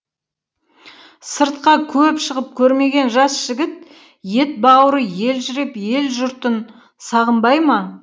сыртқа көп шығып көрмеген жас жігіт ет бауыры елжіреп ел жұртын сағынбай ма